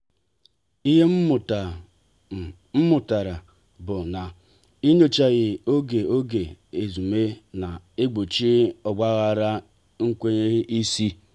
ihe mmụta m mụtara bụ na inyochaghari oge oge ezumee na-egbochi ogbaghara n'enweghị isi.